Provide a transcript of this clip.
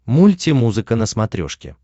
мультимузыка на смотрешке